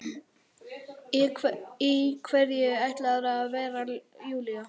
Í hverju ætlarðu að vera Júlía?